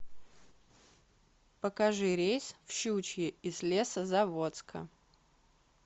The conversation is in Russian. покажи рейс в щучье из лесозаводска